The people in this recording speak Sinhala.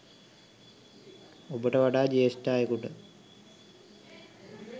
ඔබට වඩා ජ්‍යෙෂ්ඨ අයෙකුට